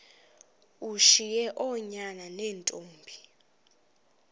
ushiye oonyana neentombi